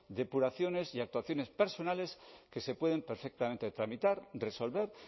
depuraciones y actuaciones personales que se pueden perfectamente tramitar resolver